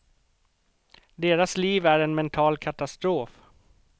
Deras liv är en mental katastrof.